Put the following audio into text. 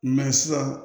sisan